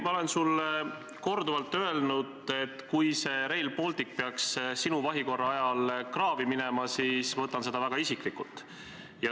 Ma olen sulle korduvalt öelnud, et kui Rail Baltic peaks sinu vahikorra ajal kraavi minema, siis ma võtan seda väga isiklikult.